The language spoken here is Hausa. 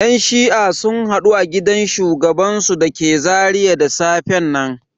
Yan shi'a sun hadu a gidan shugabansu da ke Zaria da safen nan.